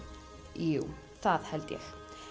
jú það held ég